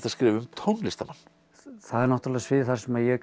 að skrifa um tónlistarmann það er náttúrulega svið þar sem ég